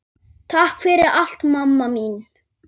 Takk fyrir allt, mamma mín.